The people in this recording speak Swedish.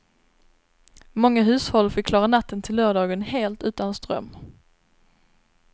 Många hushåll fick klara natten till lördagen helt utan ström.